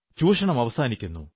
ചൂഷണം അവസാനിക്കുന്നു